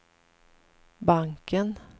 banken